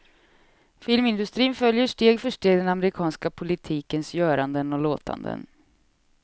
Filmindustrin följer steg för steg den amerikanska politikens göranden och låtanden.